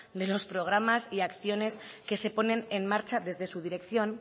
de los programas y acciones que se ponen en marcha desde su dirección